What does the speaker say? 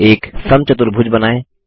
एक समचतुर्भुज बनाएँ